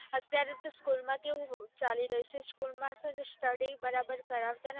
અત્યારે તો school માં કેવું ચાલી રહ્યું છે કે school માં study બરાબર કરાવ્તાજ નથી